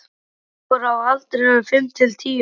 Þau voru á aldrinum fimm til tíu ára.